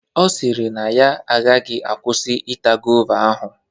Ọ sịrị na ya agaghị akwụsị ita gova ahụ.